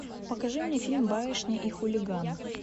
покажи мне фильм барышня и хулиган